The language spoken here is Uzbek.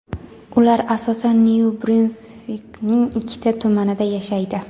ular asosan Nyu-Brunsvikning ikkita tumanida yashaydi.